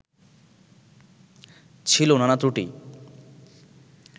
ছিল নানা ত্রুটি